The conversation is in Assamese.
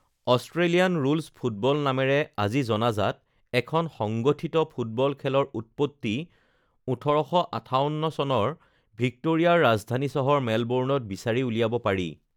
অষ্ট্ৰেলিয়ান ৰুলছ ফুটবল নামেৰে আজি জনাজাত এখন সংগঠিত ফুটবল খেলৰ উৎপত্তি ১৮৫৮ চনৰ ভিক্টোৰিয়াৰ ৰাজধানী চহৰ মেলবৰ্ণত বিচাৰি উলিয়াব পাৰি৷